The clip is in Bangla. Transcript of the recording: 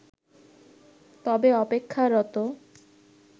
তবে অপেক্ষারত